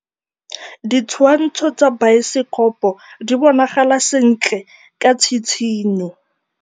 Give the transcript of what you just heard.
Ditshwantshô tsa biosekopo di bonagala sentle ka tshitshinyô.